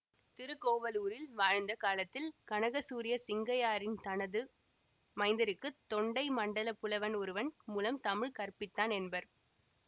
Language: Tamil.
திருக்கோவலூரில் வாழ்ந்த காலத்தில் கனகசூரிய சிங்கையாரியன் தனது மைந்தருக்கு தொண்டைமண்டலப் புலவன் ஒருவன் முலம் தமிழ் கற்பித்தான் என்பர்